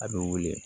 A bɛ wili